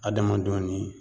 Adamadenw ni